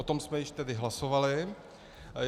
O tom jsme již tedy hlasovali.